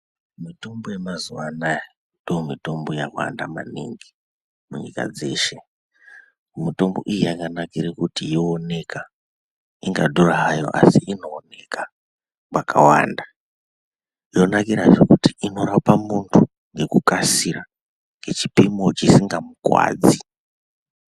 Mitombo yemazuwa anaya ndiyo mitombo yawanda maningi munyika dzeshe. Mitombo iyi yakanakire kuti yoooneka, ingadhura hayo asi inooneka mwakawanda. Zvanakira kuti inorape muntu ngekukasika ngechipimo chisingamukuwadzi.